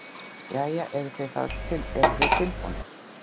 Jæja, eruð þið tilbúnir?